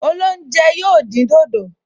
Olóúnjẹ yóò dín dòdò